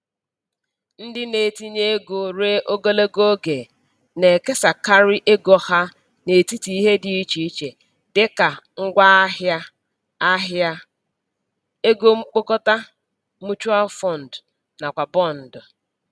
Ndị na-etinye ego ruo ogologo oge na-ekesakarị ego ha n'etiti ihe dị iche iche dị ka ngwaahịa ahịa, ego mkpokọta(mutual fund) nakwa bọndụ.